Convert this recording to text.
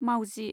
मावजि